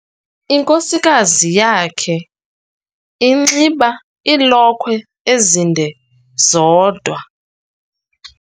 Inkosikazi yakhe inxiba iilokhwe ezinde zodwa.